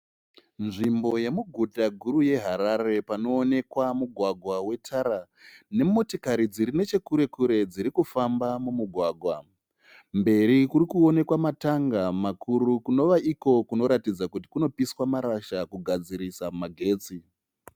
Nzvimbo yemuguta guru yeHarare panoonekwa mugwagwa wetara. Nemotikari dzirinechekurekure dzirikufamba mumugwagwa. Mberi kurikuonekwa matanga makuru, kunongova iko kunoratidza kuti kurikupiswa marasha kugadzirisa magetsi.